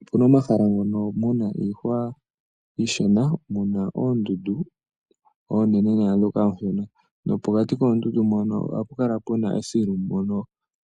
Opu na omahala ngono mu na iihwa iishona mu na oondundu oonene naandhoka oonshona, nopokati koondundu mpono oha pu kala pu na esilu mono